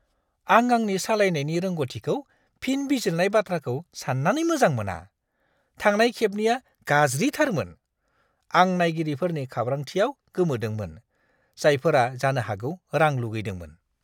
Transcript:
आं आंनि सालायनायनि रोंग'थिखौ फिन बिजिरनाय बाथ्राखौ सान्नानै मोजां मोना। थांनाय खेबनिया गाज्रिथारमोन। आं नायगिरिफोरनि खाब्रांथिआव गोमोदोंमोन, जायफोरा जानो हागौ रां लुगैदोंमोन।